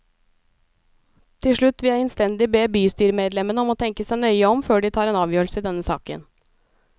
Til slutt vil jeg innstendig be bystyremedlemmene om å tenke seg nøye om før de tar en avgjørelse i denne saken.